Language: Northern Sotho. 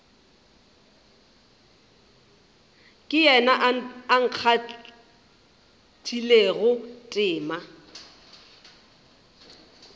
ke yena a kgathilego tema